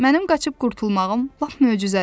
Mənim qaçıb qurtulmağım lap möcüzədir.